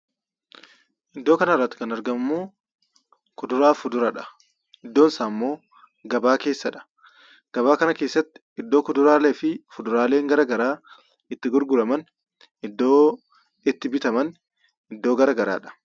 Iddoo kanarratti kan argamummoo kuduraafi fuduraadha. Iddoon isaammoo gabaa keessadha. Gabaa kana keessatti iddoo kuduraalee fi fuduraaleen garagaraa itti gurguraman iddoo itti bitaman iddoo garagaraadha.